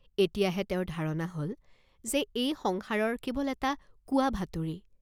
এতিয়া হে তেওঁৰ ধাৰণা হল যে, এই সংসাৰৰ কেৱল এটা কোৱাভাতুৰী।